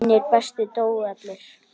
Hinir bestu dóu allir.